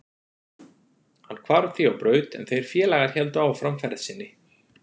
Hann hvarf því á braut en þeir félagar héldu áfram ferð sinni.